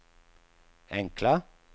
enkla